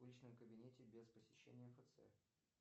в личном кабинете без посещения мфц